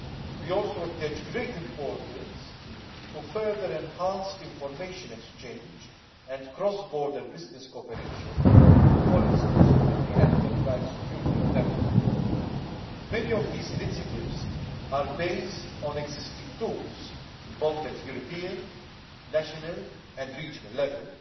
We also attach great importance to further enhancing information exchange and cross border business cooperation, for instance within the Enterprise Europe Network. Many of these initiatives are based on existing tools, whether at European, national or regional level.